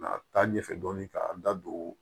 A taa ɲɛfɛ dɔɔnin k'an da don